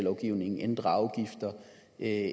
er